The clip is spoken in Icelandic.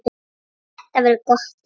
Þetta verður gott ár.